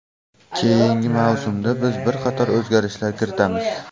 Keyingi mavsumda biz bir qator o‘zgarishlar kiritamiz.